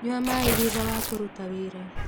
Nyua maĩ thutha wa kũruta wĩra